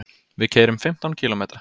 Við keyrum fimmtán kílómetra.